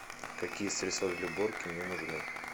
какие средства для уборки мне нужны